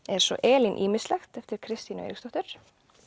er svo Elín ýmislegt eftir Kristínu Eiríksdóttur